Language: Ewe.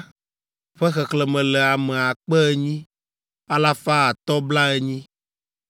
ƒe xexlẽme le ame akpe enyi, alafa atɔ̃ blaenyi (8,580).